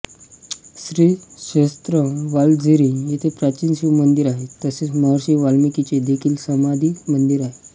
श्रीक्षेत्र वालझिरी येथे प्राचीन शिवमंदिर आहे तसेच महर्षी वाल्मिकींचे देखील समाधी मंदिर आहे